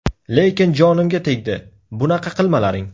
Lekin jonimga tegdi, bunaqa qilmalaring.